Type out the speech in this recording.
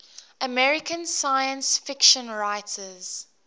american science fiction writers